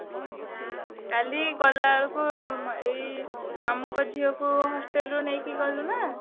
ହଁ ହଁ କାଲି ଗଲା ବେଳକୁ ଉଁ ଏଇ ମାମୁଁଙ୍କ ଝିଅକୁ hostel ରୁ ନେଇକି ଗଲୁନା।